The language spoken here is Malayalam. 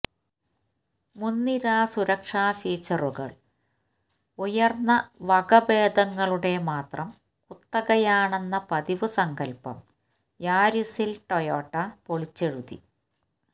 മുന്നിര സുരക്ഷാ ഫീച്ചറുകള് ഉയര്ന്ന വകഭേദങ്ങളുടെ മാത്രം കുത്തകയാണെന്ന പതിവ് സങ്കല്പം യാരിസില് ടൊയോട്ട പൊളിച്ചെഴുതി